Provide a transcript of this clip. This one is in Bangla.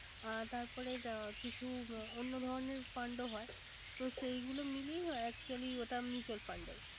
অ তারপরে কিছু অন্য ধরনের Fund হয়। তো সেই গুলো মিলিয়ে actually ওটা mutual fund হয়